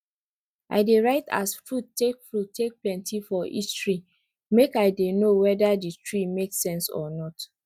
i dey write as fruit take fruit take plenty for each tree make i dey know wede di tree make sense or not